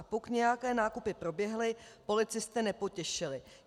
A pokud nějaké nákupy proběhly, policisty nepotěšily.